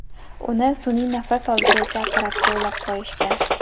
Uni sun’iy nafas oldiruvchi apparatga ulab qo‘yishgan.